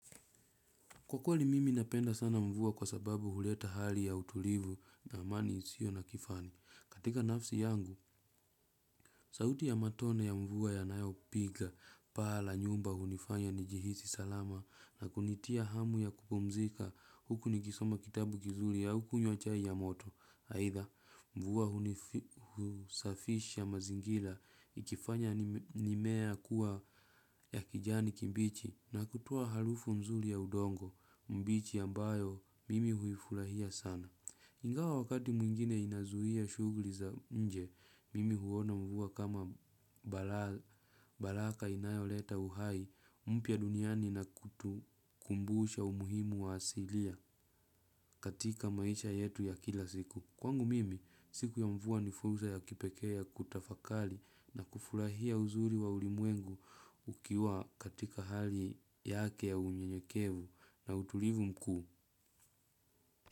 Kwa kweli mimi napenda sana mvua kwa sababu huleta hali ya utulivu na amani isio na kifani. Katika nafsi yangu, sauti ya matone ya mvua yanayo piga, paa la nyumba hunifanya nijihisi salama na kunitia hamu ya kupumzika huku ni kisoma kitabu kizuli au kunywa chai ya moto. Haitha, mvua hunisafisha mazingila ikifanya mimea kuwa ya kijani kibichi na kutoa halufu mzuri ya udongo, mbichi ambayo mimi huifulahia sana. Ingawa wakati mwingine inazuhia shugli za nje, mimi huona mvua kama baraka inayo leta uhai, mpya duniani na kutukumbusha umuhimu wa asilia katika maisha yetu ya kila siku. Kwangu mimi, siku ya mvua ni fursa ya kipekee ya kutafakali na kufurahia uzuri wa ulimwengu ukiwa katika hali yake ya unyenyekevu na utulivu mkuu.